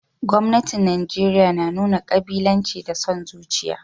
Gwamnatin Najeriya na nuna kabilanci da son zuciya